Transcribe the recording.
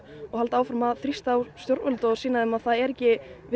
og halda áfram að þrýsta á stjórnvöld og sýna þeim að það er ekki